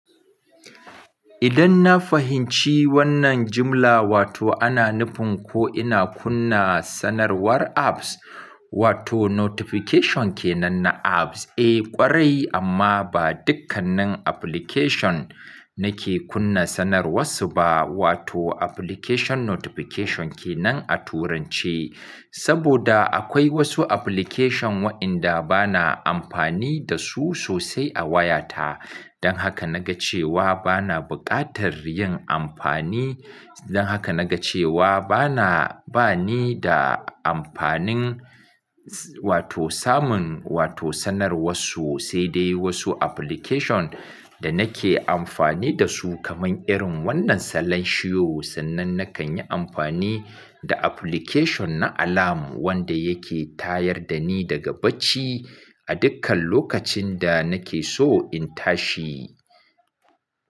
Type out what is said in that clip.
Idan na fahinci wannan jimla, wato ana nufin ko ina kunna sanarwar apps, wato notification ke nan na apps. Eh ƙwarai amma ba dukkannin application nake kunna sanarwarsu ba, wato application notification ke nan a turance. Saboda akwai wasu application wa'inda bana amfani da su sosai a wayata. Don haka na ga cewa bana buƙatar yin amfani, don haka na ga cewa bana, ba ni da amfanin wato samun wato sanarwarsu, sai dai wasu application, da nake amfani da su, kamar irin wannan salanshiyo, sannan nakan yi amfani, da application na alarm wanda yake tayar da ni daga bacci a dukkan lokacin da nake so in tashi.